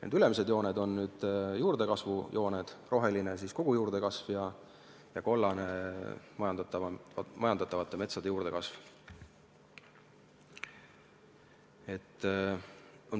Need ülemised jooned siin graafikul on juurdekasvu jooned: roheline on kogu juurdekasv ja kollane majandatava metsa juurdekasv.